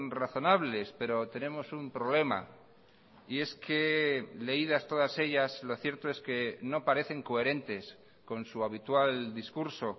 razonables pero tenemos un problema y es que leídas todas ellas lo cierto es que no parecen coherentes con su habitual discurso